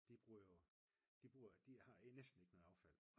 de bruger jo de har næsten ikke noget affald